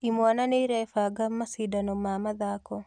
Imwana nĩirebanga macindano ma mathako